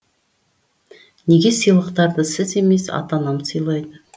неге сыйлықтарды сіз емес ата анам сыйлады